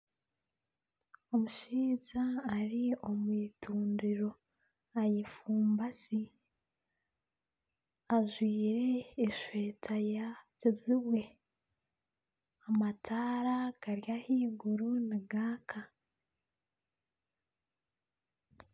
Omushaija ari omu itundiro ayefumbasi, ajwire esweta ya kijubwe amataara gari ahaiguru nigaaka